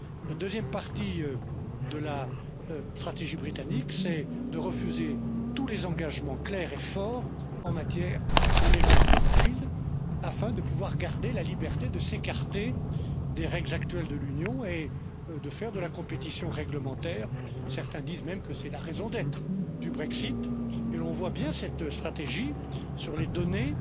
La deuxième partie de la stratégie britannique c'est de refuser tous les engagements clairs et forts en matière de level playing field afin de pouvoir garder la liberté de s'écarter des règles actuelles de l'Union et de faire de la compétition réglementaire, certains disent même que c'est la raison d'être du Brexit et l'on voit bien cette stratégie sur les données.